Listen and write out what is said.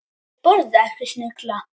Ég borða ekki snigla.